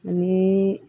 Ni